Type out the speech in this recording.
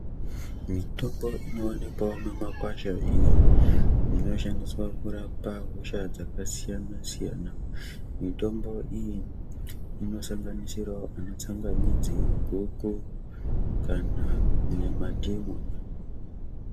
Mitombo inoonekwawo mumakwasha iyo inoshandiswawo kurapa hosha dzakasiyana siyana mitombo iyi inosanganisirawo ana tsangamidzi goko kana mandimu.